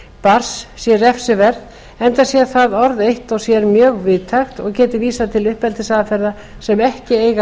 barns sé refsiverð enda sé það orð eitt og sér mjög víðtækt og geti vísað til uppeldisaðferða sem ekki eigi að